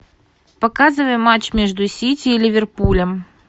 показывай матч между сити и ливерпулем